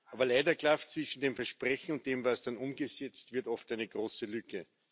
Aber leider klafft zwischen dem Versprechen und dem, was dann umgesetzt wird, oft eine große Lücke.